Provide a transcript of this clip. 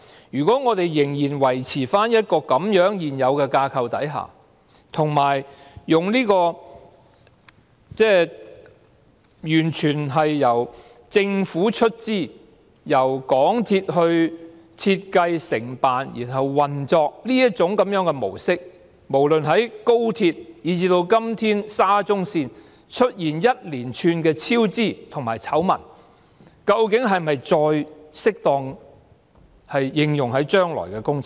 如果我們仍然維持現有的架構，以及完全由政府出資，由港鐵公司設計、承辦和運作的模式，在無論是高鐵，以至現時的沙中線也出現一連串超支和醜聞的情況下，這架構和模式究竟是否再適用於將來的工程？